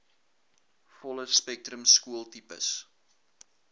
volle spektrum skooltipes